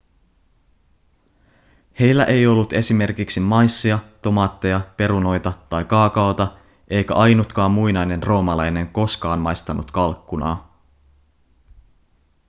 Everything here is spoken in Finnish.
heillä ei ollut esimerkiksi maissia tomaatteja perunoita tai kaakaota eikä ainutkaan muinainen roomalainen koskaan maistanut kalkkunaa